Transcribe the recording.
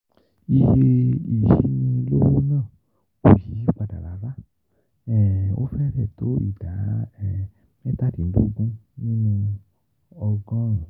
Iye ìyínilówó náà kò yí padà rárá, ó fẹ́rẹ̀ẹ́ tó ìdá mẹ́tàdínlógún nínú ọgọ́rùn-ún.